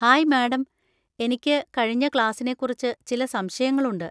Hi madam, എനിക്ക് കഴിഞ്ഞ ക്ലാസിനെക്കുറിച്ച് ചില സംശയങ്ങളുണ്ട്.